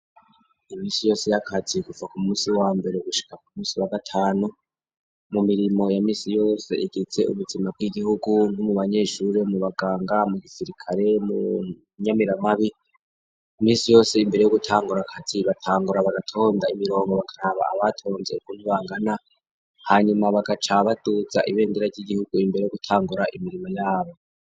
Iminsi yose y'akazi guva ku munsi wa mbere gushika ku munsi wa gatanu mu mirimo ya misi yose igize ubuzima bw'igihugu nko mu banyeshure, mu baganga, mu gisirikare, mu nyamiramabi, imisi yose imbere yo gutangura kazi batangura bagatonda imirongo bakaraba abatonze ukuntu bangana, hanyuma bagaca baduza ibendera ry'igihugu, imbere yo gutangura imirimo yabo.